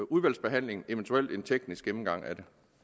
udvalgsbehandlingen og eventuelt en teknisk gennemgang af